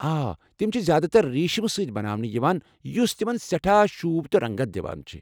آ، تِم چھِ زیادٕ تر ریٖشٕم سۭتۍ بناونہٕ یِوان یُس تِمَن سٹھاہ شوٗب تہٕ رنٛگت دِوان چھِ ۔